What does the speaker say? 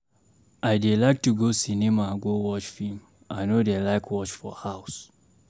I dey like to go cinema go watch film, I no dey like watch for house.